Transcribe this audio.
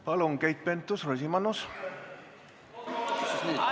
Palun, Keit Pentus-Rosimannus!